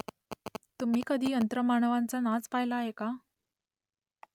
तुम्ही कधी यंत्रमानवांचा नाच पाहिला आहे का ?